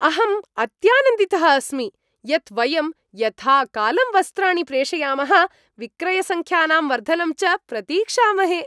अहम् अत्यानन्दितः अस्मि यत् वयं यथाकालं वस्त्राणि प्रेषयामः, विक्रयसङ्ख्यानां वर्धनं च प्रतीक्षामहे।